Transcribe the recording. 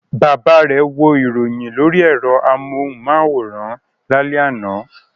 Bàbá rẹ̀ wo ìròyìn lórí ẹ̀rọ amóhùmáwòhán lálẹ́ àná.